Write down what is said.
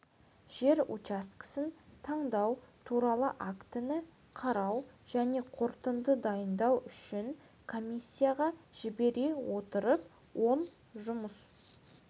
жер учаскесін таңдау туралы актіні қарау және қорытынды дайындау үшін комиссияға жібере отырып он жұмыс